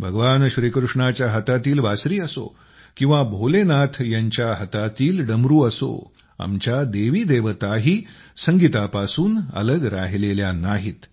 भगवान श्रीकृष्णाच्या हातातील बासरी असो किंवा भोलनाथ यांच्या हातातील डमरू असो आमच्या देवीदेवताही संगीतापासून अलग राहिलेल्या नाहीत